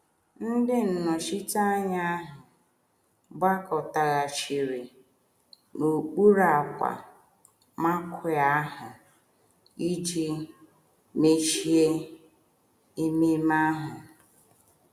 Ndị nnọchiteanya ahụ gbakọtaghachiri n’okpuru ákwà marquee ahụ iji mechie ememe ahụ.